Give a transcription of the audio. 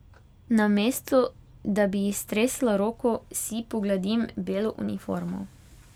Namesto da bi ji stresla roko, si pogladim belo uniformo.